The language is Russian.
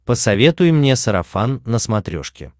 посоветуй мне сарафан на смотрешке